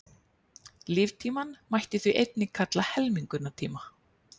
Líftímann mætti því einnig kalla helmingunartíma.